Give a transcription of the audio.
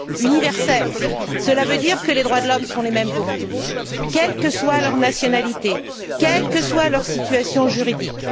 Universelle, cela veut dire que les droits de l'homme sont les mêmes pour tous, quelle que soit leur nationalité, quelle que soit leur situation juridique.